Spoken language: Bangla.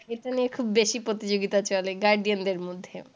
এটা নিয়ে খুব বেশি প্রতিযোগিতা চলে guardian দের মধ্যে।